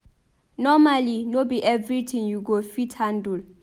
Nomally no be everytin you go fit handle